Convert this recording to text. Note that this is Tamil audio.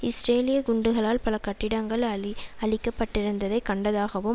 இஸ்ரேலிய குண்டுகளால் பல கட்டிடங்கள் அழி அழிக்கப்பட்டிருந்ததை கண்டதாகவும்